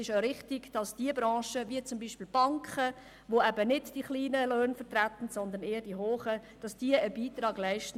Es ist richtig, dass Branchen wie beispielsweise die Banken, welche nicht die tiefen Löhne vertreten, einen Beitrag an diesen Ausgleich leisten.